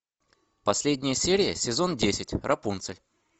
последняя серия сезон десять рапунцель